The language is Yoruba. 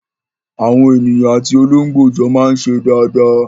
Àwọn ènìyàn àti olóńgbò jọ máa ń ṣe dáadáa.